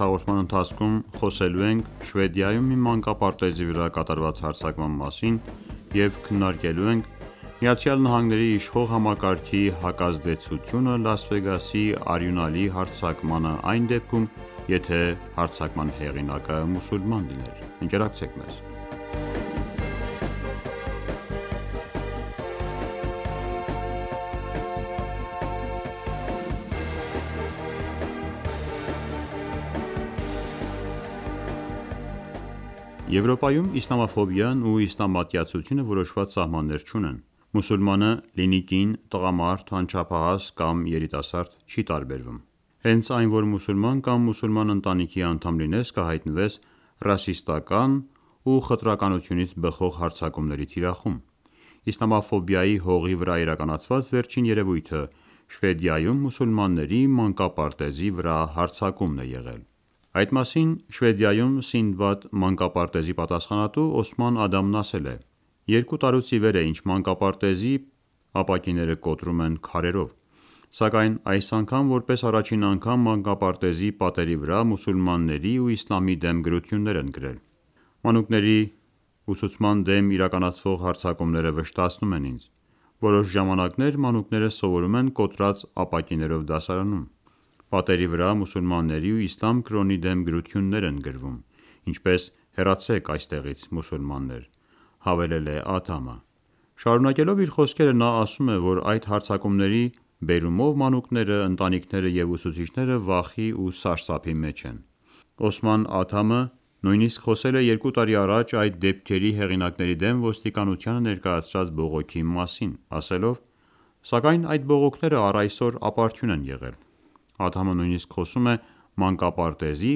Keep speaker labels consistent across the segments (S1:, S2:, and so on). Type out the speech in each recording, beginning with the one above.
S1: հաղորդման ընթացքում խոսելու ենք Շվեդիայում մի մանկապարտեզի վրա կատարված հարձակման մասին և քննարկելու ենք ԱՄՆ-ի իշխող համակարգի հակազդեցությունը Լաս Վեգասի արյունալի հարձակմանը այն դեպքում, եթե հարձակման հեղինակը մուսուլման լիներ: Եվրոպայում իսլամաֆոբիան ու իսլամատյացությունը որոշված սահմաններ չունեն: Մուսուլմանը՝ լինի կին, տղամարդ, անչափահաս կամ երիտասարդ չի տարբերվում: Հենց այն որ մուսուլման կամ մուսուլման ընտանիքի անդամ լինես կհայտնվես ռասիստական ու խտրականություններից բխող հարձակումների թիրախում: Իսլամաֆոբիայի հողի վրա իրականացված վերջին երևույթը՝ Շվեդիայում մուսուլմանների մանկապարտեզի վրա հարձակումն է եղել: Այդ մասին Շվեդիայում Սինդբադի մանկապարտեզի պատասխանատու Օսման Ադամն ասել է.«Երկու տարուց իվեր է ինչ մանկապարտեզի ապակիները կոտրում են քարերով: Սակայն այս անգամ որպես առաջին անգամ մանկապարտեզի պատերի վրա մուսուլմանների ու իսլամի դեմ գրություններ են գրել»: «Մանուկների ուսուցման դեմ իրականացվող հարձակումները վշտացնում են ինձ: Որոշ ժամանակներ մանուկները սովորում են կոտրված ապակիներով դասարաններում: Պատերի վրա մուսուլմանների ու իսլամ կրոնի դեմ գրություներ են գրում ինչպես «Հեռացեք այստեղից մուսուլմաններ»»,-հավելել է Ադամը: Շարունակելով իր խոսքերը նա ասում է, որ այդ հարձակումների բերումով մանուկները, ընտանիքները և ուսուցիչները վախի ու սարսափի մեջ են: Օսման Ադամը նույնիսկ խոսել է 2 տարի առաջ այդ դեպքերի հեղինակների դեմ ոստիկնությանը ներկայացրած բողոքի մասին, ասելով.«Սակայն այդ բողոքները առայսօր ապարդյուն են եղել»: Ադամը նույնիսկ խոսում է մանկապարտեզի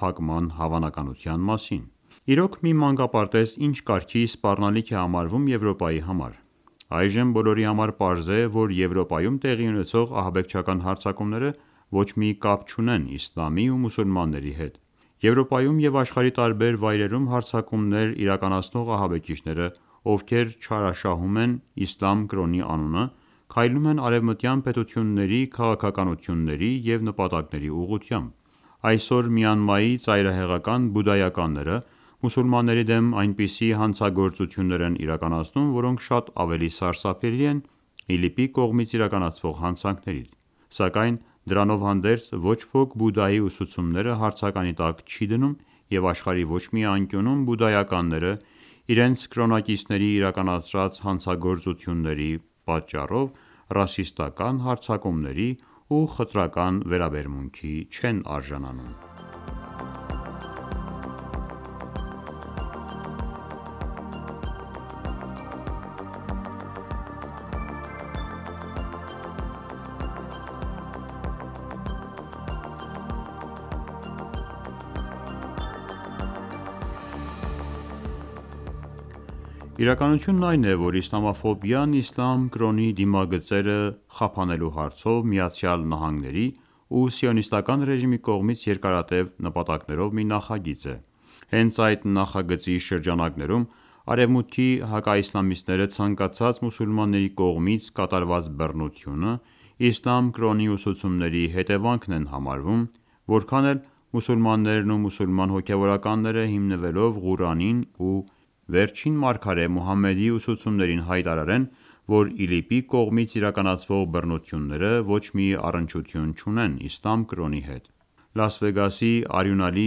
S1: փակման հավանականության մասին: Իրոք, մի մանկապարտեզ, ի՞նչ կարգի սպառնալիք է համարվում Եվրոպայի համար: Այժմ բոլորի համար պարզ է, որ Եվրոպայում տեղի ունեցող ահաբեկչական հարձակումները ոչ մի կապ չունեն իսլամի ու մուսուլմանների հետ: Եվրոպայում և աշխարհի տարբեր վայրերում հարձակումներ իրականացնող ահաբեկիչները, ովքեր չարաշահում են իսլամ կրոնի անունը քայլում են արևմտյան պետությունների քաղաքականությունների և նպատակների ուղղությամբ: Այսօր Մյանմայի ծայրահեղական բուդդայականները մուսուլմանների դեմ այնպիսի հանցագործություններ են իրականացնում, որոնք շատ ավելի սարսափելի են ԻԼԻՊ-ի կողմից իրականացվող հանցանքներից: Սակայն դրանով հանդերձ ոչ ոք Բուդդայի ուսուցումները հարցականի տակ չի դնում և աշխարհի ոչ մի անկյունում բուդդայականները իրենց կրոնակիցների իրականացրած հանցագործությունների պատճառով ռասիստական հարձակումների ու խտրական վերաբերմունքի չեն արժանանում: Իրականությունն այն է, որ իսլամաֆոբիան իսլամ կրոնի դիմագծերը խափանելու հարցով ԱՄՆ-ի ու Սիոնիստական ռեժիմի կողմից երկարատև նպատակներով մի նախագիծ է: Հենց այդ նախագծի շրջանակներում արևմուտքի հակաիսլամիստները ցանկացած մուսուլմանի կողմից կատարված բռնություն իսլամ կրոնի ուսուցումների հետևանքն են համարում, որքան էլ մուսուլմաններն ու մուսուլման հոգևորականները հիմնվելով Ղուրանին ու վերջին մարգարե Մուհամմեդի ուսուցումներին հայտարարեն, որ ԻԼԻՊ-ի կողմից իրականցվող բռնությունները ոչ մի առնչություն չունեն իսլամ կրոնի հետ: Լաս Վեգասի արյունալի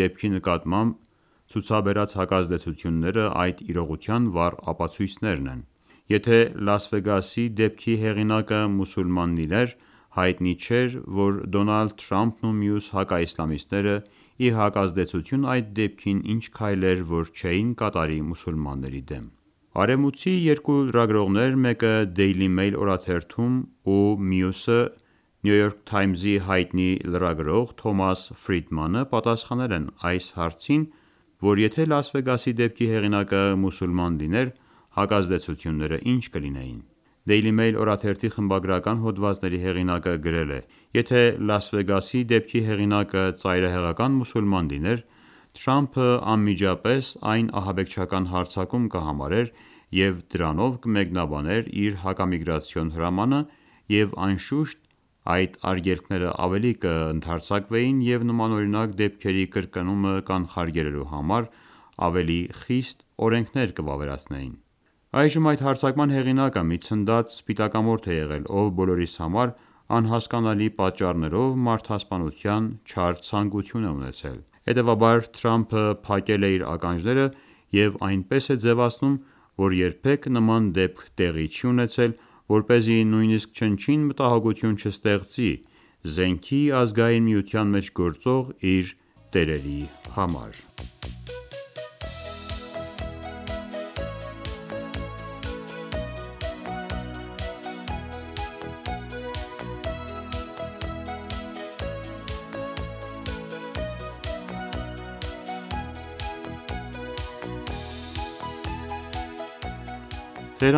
S1: դեպքի նկատմամբ ցուցաբերած հակազդեցությունները այդ իրողության վառ ապացույցերն են: Եթե Լաս Վեգասի դեպքի հեղինակը մուսուլման լիներ հայտնի չէր, որ Դոնալդ Թրամփն ու մյուս հակաիսլամիստները ի հակազդեցություն այդ դեպքի ինչ քայլեր, որ չէին կատարի մուսուլմաների դեմ: Արևմուտքցի երկու լրագրողներ մեկը Դեյլի Մեյլ օրաթերթում ու մյուսը Նյու Յորքի հայտնի լրագրող Թոմաս Ֆրիդմանը պատասխանել են այն հարցին, որ եթե Լաս Վեգասի դեպքի հեղինակը մուսուլման լիներ հակազդեցությունները ինչ կլինեին: Դեյլի Մեյլ օրաթերթի խբագրական հոդվածների հեղինակը գրել է.«Եթե Լաս Վեգասի դեպքի հեղինակը ծայրահեղական մուսուլման լիներ Թրամփը անմիջապես այն ահաբեկչական հարձակում կհամարեր և դրանով կմեկնաբաներ իր հակամիգրացիոն հրամանը և անշուշտ այդ ագելքները ավելի կընդարձակվեին և նմանօրինակ դեպքերի կրկնումը կանխարգելելու համար ավելի խիստ օրենքներ կվավերացվեին»: Այժմ այդ հարձակման հեղինակը մի ցնդած սպիտակամորթ է եղել, ով բոլորիս համար անհասկանալի պատճառներով մարդասպանության չար ցանկություն է ունեցել: Հետևաբար Թրամփը փակել է իր ականջները և այնպես է ձևացնում, որ երբեք նման դեպք տեղի չի ունեցել, որպեսզի նույնիսկ չնչին մտահոգություն չստեղծի զենքի ազգային միության մեջ գործող իր տերերի համար»: Թոմաս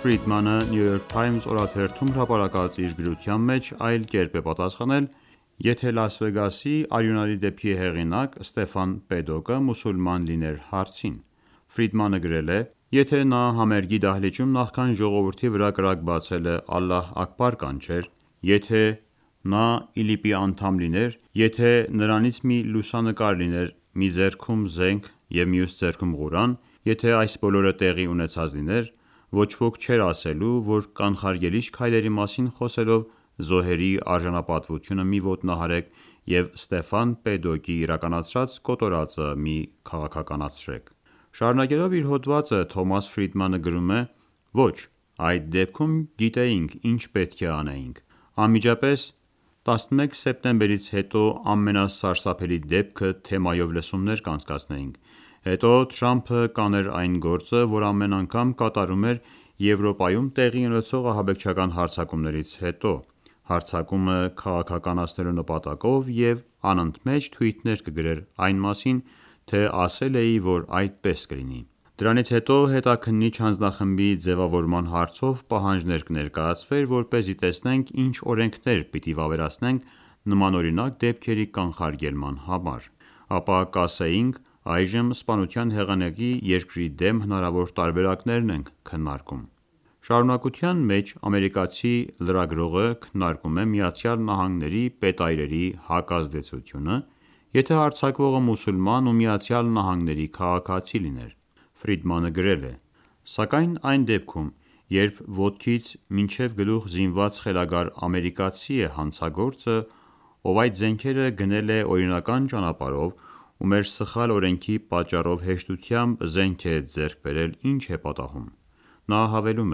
S1: Ֆրիդմանը Նյու Յուրք Թայմզ օրաթերթում հրապարակած իր գրության մեջ այլ կերպ է պատասխանել «Եթե Լաս Վեգասի արյունալի դեպքի հեղինակ Ստեֆան Փեդոքը մուսուլման լիներ ....» հարցին: Ֆրիդմանը գրել է.«Եթե նա համերգի դահլիճում նախքան ժողովրդի վրա կրակ բացելը Ալլահ Աքբար կանչեր... Եթե նա ԻԼԻՊ-ի անդամ լիներ.... Եթե նրանից մի լուսանկար լիներ մի ձեռքում զենք և մյուս ձեռքում Ղուրան.... Եթե այս բոլորը տեղի ուեցած լիներ, ոչ ոք չէր ասելու, որ կանխարգելիչ քայլերի մասին խոսելով զոհերի արժանապատվությունը մի ոտնահարեք և Փեդոկի իրականացրած կոտորածը մի քաղաքականացրեք»:»: Շարունակելով իր հոդվածը Թոմաս Ֆրիդմանը գրում է.«Ոչ, այդ դեպքում գիտեինք ինչ պետք է անեինք: Անմիջապես, «11 սեպտեմբերից հետո ամենասարսափելի դեպքը» թեմայով լսումներ կանցկացնեինք: Հետո Թրամփը կաներ այն գործը, որ ամեն անգամ կատարում էր Եվրոպայում տեղի ունեցող ահաբեկչական հարձակումներից հետո՝ հարձակումը քաղաքականացնելու նպատակով և անընդմեեջ թուիթներ կգրեր այն մասին, թե ասել էի, որ այդպես կլինի: Դրանից հետո հետաքննինչ հանձնախմբի ձևավորման հարցով պահանջներ կներկայացվեր, որպեսզի տեսնենք ինչ օրենքներ պիտի վավերացնենք նմանօրինակ դեպքերի կանխարգելման համար: Ապա կասեինք այժմ սպանության հեղինակի երկրի դեմ հնարավոր տարբերակներն ենք քննարկում»: Շարունակության մեջ ամերիկացի լրագրողը քննարկում է ԱՄՆ-ի պետայրերի հակազդեցությունը՝ եթե հարձակվողը մուսուլման ու ԱՄՆ-ի քաղաքացի լիներ: Ֆրիդմանը գրել է.«Սակայն այն դեպքւմ, երբ ոտքից մինչև գլուխ զինված խելագար ամերիկացին, որ այդ զենքերը գնել է օրինական ճանապարով ու մեր սխալ օրենքի պատճառով հեշտությամբ զենք է ձեռք բերել ի՞նչ է պատահում»: Նա հավելում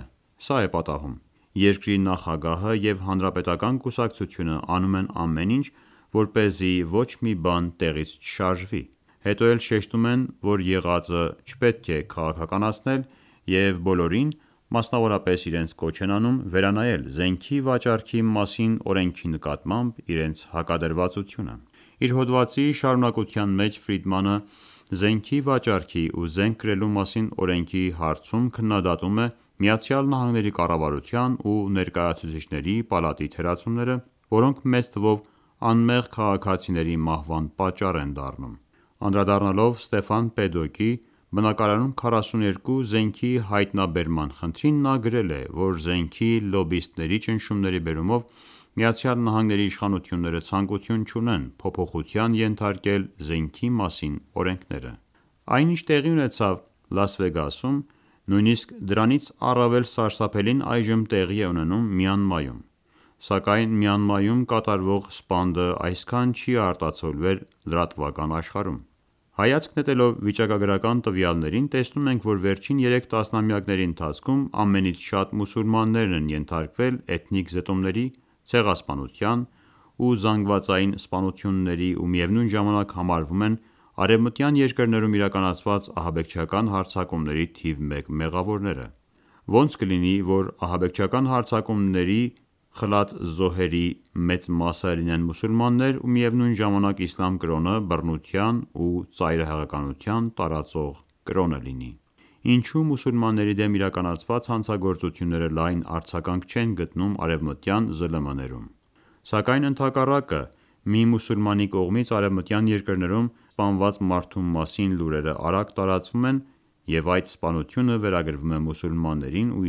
S1: է.«Սա է պատահում: Երկրի նախագահը և հանրապետական կուսակցությունը անում են ամեն ինչ, որպեսզի ոչ մի բան տեղից չշրաժվի: Հետո էլ շեշտում են, որ եղածը չպետք է քաղաքականացնել և բոլորին մասնավորապես իրենց կոչ են անում վերանայել զենքի վաճառքի մասին օրենքի նկատմամբ իրենց հակադրվածությունը»: Իր հոդվածի շարունակության մեջ Ֆրիդմանը զնեքի վաճառքի ու զենք կրելու մասին օրենքի հարցում քննդատում է ԱՄՆ-ի կառավարության ու ներկայացուցիչների պալատի թերացումները ,որոնք մեծ թվով անմեղ քաղաքացիների մահվան պատճառ են դառնում: Անդրադառնալով Ստեֆան Փեդոկի բնակարանում 42 զենքի հայտնաբերման խնդրին նա գրել է, որ զենքի լոբբիստների ճնշումների բերումով ԱՄՆ-ի իշխանությունները ցանկություն չունեն փոփոխության ենթարկել զենքի մասին օրենքները: Այն ինչ, որ տեղի ունեցավ Լաս Վեգասում, նույնիսկ դրանից առավել սարսափելին այժմ տեղի է ունենում Մյանմայում: Սակայն Մյանմայում կատարվող սպանդը այսքան չի արտացոլվել լրատվական աշխարհում: Հայացք նետելով վիճակագրական տվյալներին տեսնում ենք, որ վերջին երեք տասնամյակների ընթացքում ամենից շատ մուսուլմաններն են ենթարկվել էթնիկ զտումների, ցեղասպանության ու զանգվածային սպանությունների ու միևնույն ժամանակ համարվում են արևմտյան երկրներում իրականացված ահաբեկչական հարձակումների թիվ մեկ մեղավորները: Ո՞նց կլինի, որ ահաբեկչական հարձակումների խլած զոհերի մեծ մասը լինեն մուսուլմաններ ու միևնույն ժամանակ իսլամ կրոնը բռնություն ու ծայրահեղականություն տարածող կրոն լինի: Ինչո՞ւ մուսուլմանների դեմ իրականացված հանցագործությունները լայն արձագանք չեն գտնում արևմտյան ԶԼՄ-ներում: Սակայն ընդհակառանը մի մուսուլմանի կողմից արևմտյան երկրներում սպանված մարդու մասին լուրերը արագ տարածվում են և այդ սպանությունը վերագրվում է մուսուլմաններին ու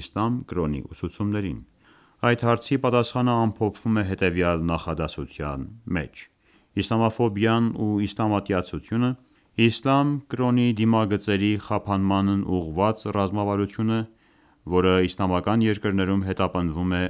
S1: իսլամ կրոնի ուսուցումներին: Այդ հարցի պատասխանը ամփոփվում է հետևյալ նախադասության մեջ.«Իսլամաֆոբիան ու իսլամատյացությունը իսլամ կրոնի դիմագծերի խափանմանն ուղղված ռազմավարություն է, որը իսլամական երկրներում հետապնդվում է